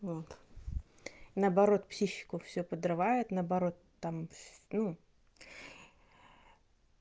вот наоборот психику всю подрывает наоборот там в ну